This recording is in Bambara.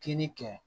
Kini kɛ